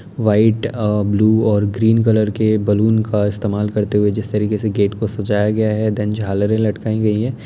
White और blue और green colour के बलून का इस्तेमाल करते हुए जिस तरीके से गेट को सजाया गया है देन झालरे लटकाई गई हैं।